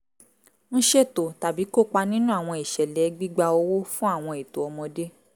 ń ṣètò tàbí kópa nínú àwọn ìṣẹ̀lẹ̀ gbígba owó fún àwọn ètò ọmọdé